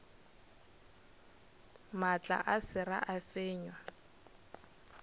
maatla a sera a fenywa